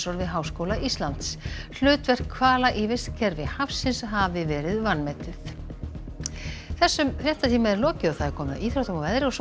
við Háskóla Íslands hlutverk hvala í vistkerfi hafsins hafi verið vanmetið þessum fréttatíma er lokið og komið að íþróttum og veðri og svo